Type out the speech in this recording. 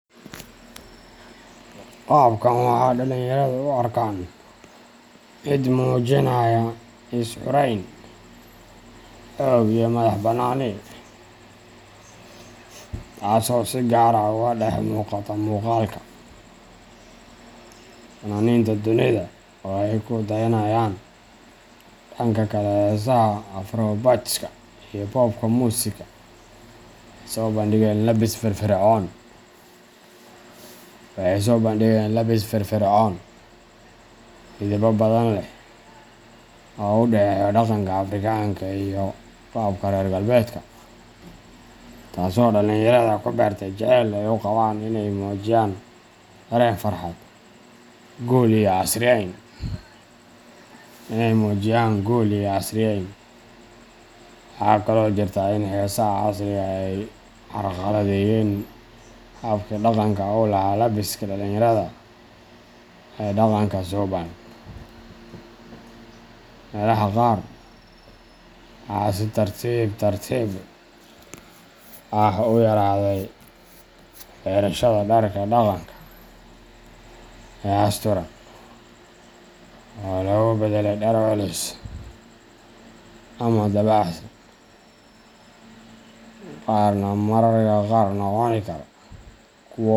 Qaabkan waxaa dhalinyaradu u arkaan mid muujinaya is xurayn, xoog iyo madax bannaani, taasoo si gaar ah uga dhex muuqata muuqaalka fannaaniinta dunida oo ay ku dayanayaan. Dhanka kale, heesaha afrobeatska iyo popka musika waxay soo bandhigeen labbis firfircoon, midabbo badan leh, oo u dhexeeya dhaqanka Afrikaanka ah iyo qaabka reer galbeedka, taasoo dhalinyarada ku beertay jaceyl ay u qabaan in ay muujiyaan dareen farxad, guul, iyo casriyeyn. Waxaa kaloo jirta in heesaha casriga ah ay carqaladeeyeen habkii dhaqanka u lahaa labbiska dhalinyarada ee dhaqanka suubban. Meelaha qaar, waxaa si tartiib tartiib ah u yaraaday xirashada dharka dhaqanka ah ee asturan, oo lagu beddelay dhar culus ama dabacsan, qaarna mararka qaar noqon kara kuwo.